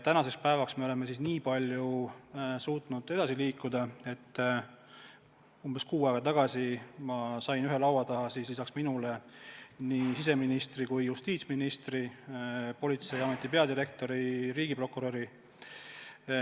Tänaseks päevaks me oleme suutnud edasi liikuda nii palju, et umbes kuu aega tagasi ma sain ühe laua taha lisaks endale nii siseministri kui justiitsministri, Politseiameti peadirektori ja riigiprokuröri.